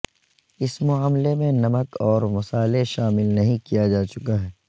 اس معاملے میں نمک اور مصالحے شامل نہیں کیا جا چکا ہے